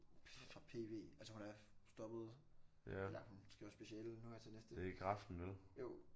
Fra PV altså hun er stoppet eller hun skriver speciale nu her til næste jo